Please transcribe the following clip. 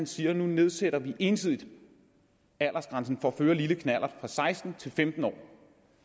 siger at nu nedsætter vi ensidigt aldersgrænsen for at føre lille knallert fra seksten til femten år